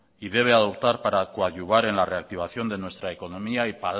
y debe adoptar para coadyuvar en la reactivación de nuestra economía y